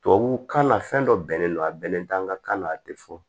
Tubabukan na fɛn dɔ bɛnnen don a bɛnnen t'an ka kan na a tɛ fɔ